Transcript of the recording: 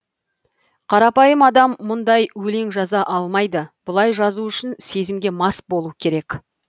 қарапайым адам мұндай өлең жаза алмайды бұлай жазу үшін сезімге мас болу керек